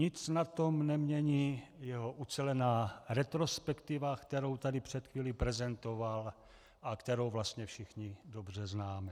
Nic na tom nemění jeho ucelená retrospektiva, kterou tady před chvílí prezentoval a kterou vlastně všichni dobře známe.